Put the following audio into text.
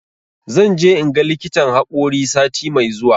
Zan je in ga likitan haƙori sati mai zuwa.